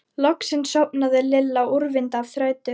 Loksins sofnaði Lilla úrvinda af þreytu.